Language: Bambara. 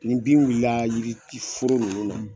Ni bin wulila yiriforo ninnu na.